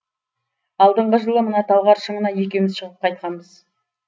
алдынғы жылы мына талғар шыңына екеуміз шығып қайтқанбыз